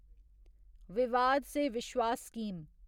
विवाद से विश्वास स्कीम